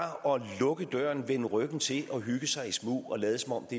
at lukke døren vende ryggen til og hygge sig i smug og lade som om det